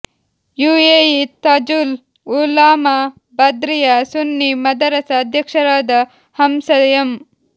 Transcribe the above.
UAE Tajul Ulama Badriya Sunni Madrasa ಅಧ್ಯಕ್ಷರಾದ Hamsa M